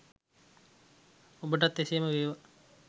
ඔබටත් එසේම වේවා